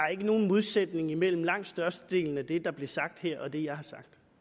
er ikke nogen modsætning imellem langt størstedelen af det der bliver sagt her og det jeg har sagt